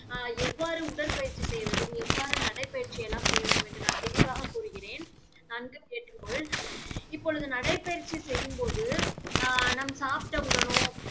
ஆஹ் எவ்வாறு உடற்பயிற்சி செய்ய வேண்டும் எவ்வாறு நடைப்பயிற்சி எல்லாம் செய்ய வேண்டும் என்று நான் தெளிவாக கூறுகிறேன். நன்கு கேட்டுக்கொள்கிறேன் இப்பொழுது நடைப்பயிற்சி செய்யும் போது அஹ் நாம் சாப்பிட்ட உடனோ